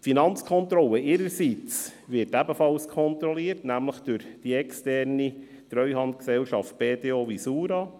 Die Finanzkontrolle ihrerseits wird ebenfalls kontrolliert, nämlich durch die externe Treuhandgesellschaft BDO Visura.